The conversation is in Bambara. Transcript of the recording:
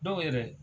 Dɔw yɛrɛ